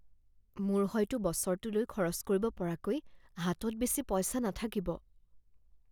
মোৰ হয়তো বছৰটোলৈ খৰচ কৰিব পৰাকৈ হাতত বেছি পইচা নাথাকিব৷